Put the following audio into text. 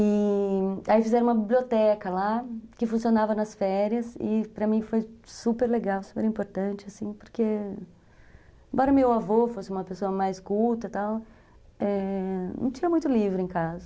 E aí fizeram uma biblioteca lá, que funcionava nas férias, e para mim foi super legal, super importante, assim, porque embora meu avô fosse uma pessoa mais culta e tal, é, não tinha muito livro em casa.